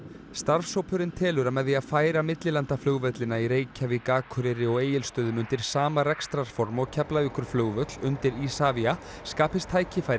starfshópurinn telur að með því að færa millilandaflugvellina í Reykjavík Akureyri og Egilsstöðum undir sama rekstrarform og Keflavíkurflugvöll undir Isavia skapist tækifæri